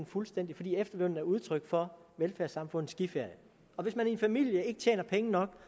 fuldstændig fordi efterlønnen er udtryk for velfærdssamfundets skiferie hvis man i en familie ikke tjener penge nok